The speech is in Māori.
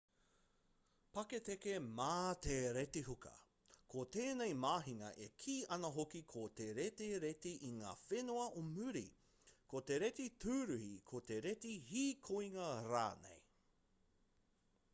paketeke mā te retihuka ko tēnei mahinga e kī ana hoki ko te reti reti i ngā whenua o muri ko te reti tūruhi ko te reti hīkoinga rānei